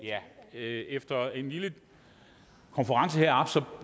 efter en lille konference heroppe